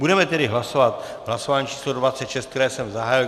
Budeme tedy hlasovat v hlasování číslo 26, které jsem zahájil.